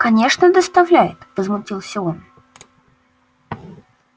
конечно доставляет возмутился он